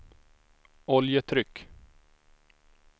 oljetryck